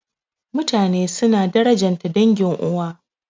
Mutane suna darajanta dangin uwa.